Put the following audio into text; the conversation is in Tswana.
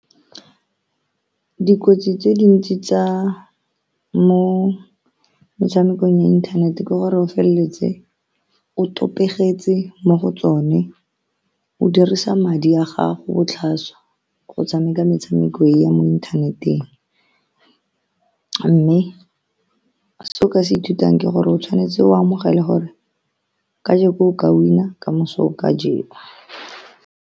Dikotsi tse dintsi tsa mo metshamekong ya inthanete ke gore o feleletse o mo go tsone. O dirisa madi a gago botlhaswa go tshameka metshameko e ya mo inthaneteng, mme se o ka se ithutang ke gore o tshwanetse o amogele gore kajeno o ka win-a, kamoso o ka jewa.